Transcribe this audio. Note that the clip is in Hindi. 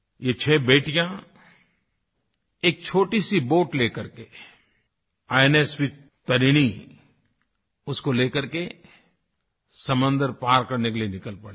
ये छ बेटियां एक छोटीसी बोट लेकर करके इन्स तारिणी तारिणी उसको लेकर कर के समुन्द्र पार करने के लिए निकल पड़ेगी